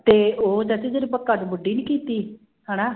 ਤੇ ਉਹ ਚਾਚੀ ਜਿਹੜੀ ਨੀ ਕੀਤੀ ਹਨਾ,